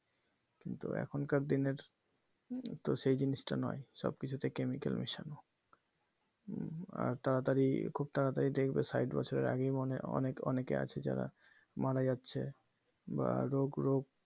কিন্তু এখনকার দিনের তো সেই জিনিসটা নয় সব কিছুতে chemical মেশানো আর তাড়াতাড়ি খুব তাড়াতাড়ি দেখবে সাইট বছরের আগেই মনেহয় অনেক অনেকে আছে যারা মারা যাচ্ছে বা রোগ রোগ